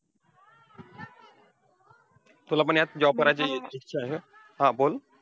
तुला पण ह्यात job करायची इच्छा आहे ना? हा बोल.